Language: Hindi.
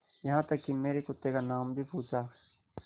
यहाँ तक कि मेरे कुत्ते का नाम भी पूछा